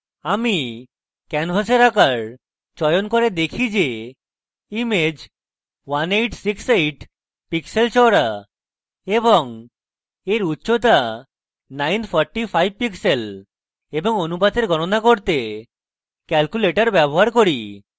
আমি ক্যানভাসের আকার চয়ন করে দেখি যে image 1868 pixels চওড়া এবং এর উচ্চতা 945 pixels এবং অনুপাতের গণনা করতে calculator ব্যবহার করি